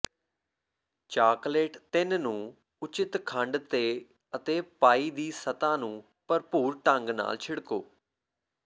chocolate ਤਿੰਨ ਨੂੰ ਉਚਿੱਤ ਖੰਡ ਤੇ ਅਤੇ ਪਾਈ ਦੀ ਸਤਹ ਨੂੰ ਭਰਪੂਰ ਢੰਗ ਨਾਲ ਛਿੜਕੋ